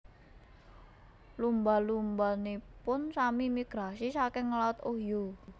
Lumba lumbanipun sami migrasi saking laut Ohio